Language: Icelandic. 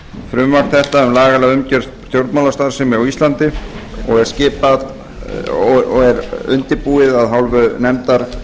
frumvarp þetta um lagalega umgerð stjórnmálastarfsemi á íslandi og er undirbúið af hálfu nefndar